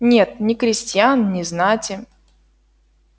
нет ни крестьян ни знати